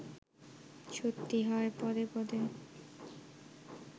সত্যি হয় পদে পদে